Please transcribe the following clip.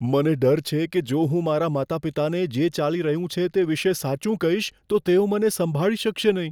મને ડર છે કે જો હું મારાં માતાપિતાને જે ચાલી રહ્યું છે તે વિશે સાચું કહીશ, તો તેઓ મને સંભાળી શકશે નહીં.